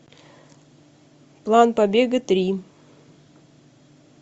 план побега три